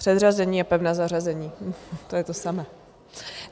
Předřazení a pevné zařazení to je to samé.